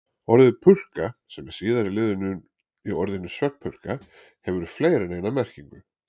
Orðið purka, sem er síðari liðurinn í orðinu svefnpurka, hefur fleiri en eina merkingu.